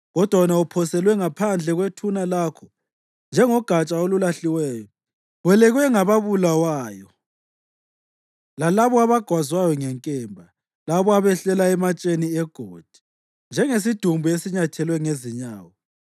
Kodwa wena uphoselwe ngaphandle kwethuna lakho njengogatsha olulahliweyo; welekwe ngababulawayo, lalabo abagwazwa ngenkemba, labo abehlela ematsheni egodi. Njengesidumbu esinyathelwe ngezinyawo,